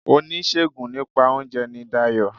Oníṣègùn nípa óunje ni Dayò